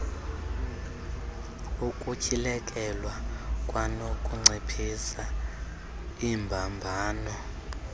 ukutyhilekelwa kwanokunciphisa iimbambano